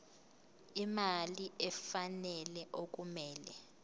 imali efanele okumele